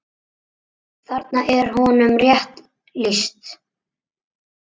Þarna er honum rétt lýst.